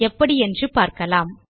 எப்படி என்று பார்க்கலாம்